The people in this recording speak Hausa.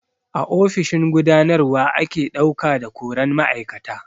A ofishin gudanarwa ake ɗauka da koran ma'aikata.